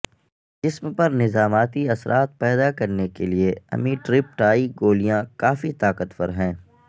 جسم پر نظاماتی اثرات پیدا کرنے کے لئے امیٹرپٹائی گولیاں کافی طاقتور ہیں